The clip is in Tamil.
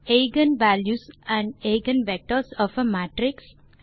எய்கென் வால்யூஸ் மற்றும் eigen vectors of a matrix